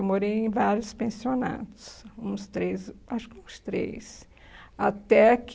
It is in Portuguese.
Eu morei em vários pensionatos, uns três, acho que uns três, até que...